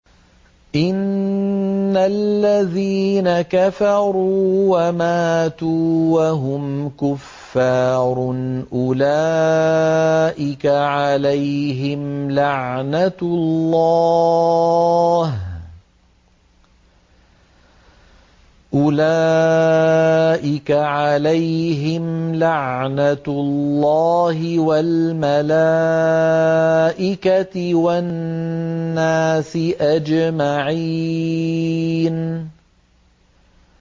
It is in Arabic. إِنَّ الَّذِينَ كَفَرُوا وَمَاتُوا وَهُمْ كُفَّارٌ أُولَٰئِكَ عَلَيْهِمْ لَعْنَةُ اللَّهِ وَالْمَلَائِكَةِ وَالنَّاسِ أَجْمَعِينَ